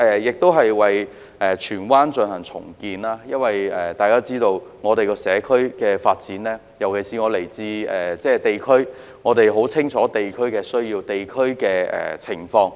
至於在荃灣進行重建，由於我來自地區，所以對於社區的發展、地區的需要和情況，可說十分清楚。